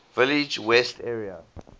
village west area